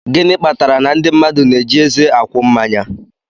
Gịnị kpatara na ndị mmadụ na-eji eze akwụ mmanya?